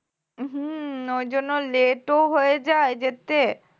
উম হম ঐজন্য late ও হয়ে যায় যেতে